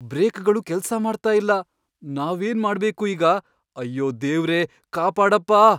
ಬ್ರೇಕ್ಗಳು ಕೆಲ್ಸ ಮಾಡ್ತಾ ಇಲ್ಲ. ನಾವೇನ್ ಮಾಡ್ಬೇಕು ಈಗ? ಅಯ್ಯೋ ದೇವ್ರೇ! ಕಾಪಾಡಪ್ಪಾ!